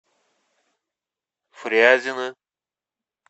фрязино